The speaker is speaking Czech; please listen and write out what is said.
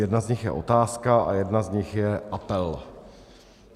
Jedna z nich je otázka a jedna z nich je apel.